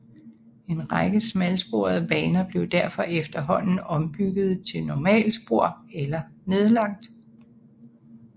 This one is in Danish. En række smalsporede baner blev derfor efterhånden ombygget til normalspor eller nedlagt